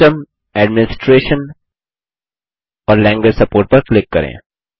system administration और language support पर click करें